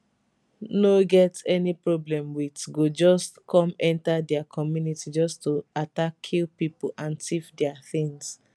no get any problem wit go just come enta dia community just to attack kill pipo and tiff dia tins